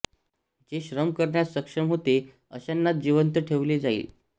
जे श्रम करण्यास सक्षम होते अश्यांनाच जिवंत ठेवले जाई